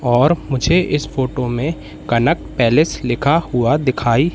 और मुझे इस फोटो में कनक पैलेस लिखा हुआ दिखाई--